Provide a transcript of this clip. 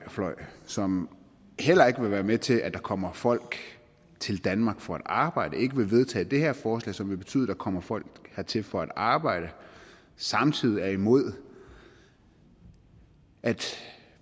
som heller ikke vil være med til at der kommer folk til danmark for at arbejde som ikke vil vedtage det her forslag som vil betyde at der kommer folk hertil for at arbejde samtidig er imod at